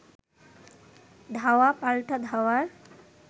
ধাওয়া পাল্টা ধাওয়ার